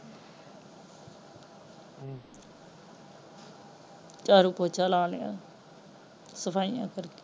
ਝਾੜੂ ਪੁਚਾ ਲਾ ਲਿਆ ਸਫ਼ਾਇਆ ਕਰਕੇ।